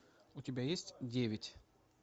у тебя есть девять